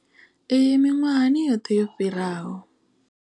Iyi miṅwahani yoṱhe yo fhiraho.